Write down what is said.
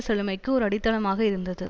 செழுமைக்கு ஒரு அடித்தளமாக இருந்தது